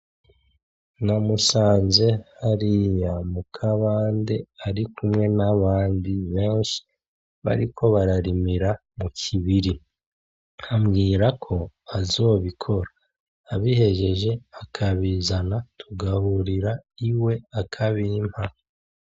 Namusanze hariya mu kabande arikumwe n'abandi benshi bariko bararimira mu kibiri. Ambwira ko azobikora, abihejeje akabizana tugahurira iwe akabimpa.